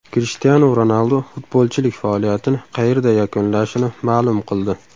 Krishtianu Ronaldu futbolchilik faoliyatini qayerda yakunlashini ma’lum qildi.